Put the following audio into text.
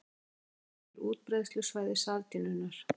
Kort sem sýnir útbreiðslusvæði sardínunnar.